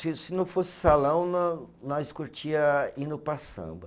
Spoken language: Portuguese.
Se se não fosse salão, nós curtia indo para samba.